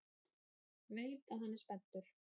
Veit að hann er spenntur.